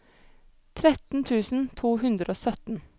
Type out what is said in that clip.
tretten tusen to hundre og sytten